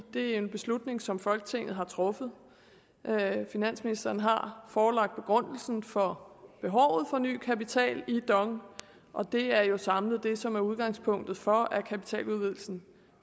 det er en beslutning som folketinget har truffet finansministeren har forelagt begrundelsen for behovet for ny kapital i dong og det er jo samlet det som er udgangspunktet for at kapitaludvidelsen